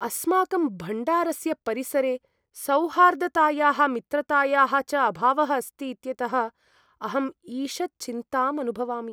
अस्माकं भण्डारस्य परिसरे सौहार्दतायाः, मित्रतायाः च अभावः अस्ति इत्यतः अहम् ईषत् चिन्ताम् अनुभवामि।